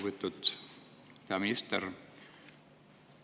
Lugupeetud peaminister!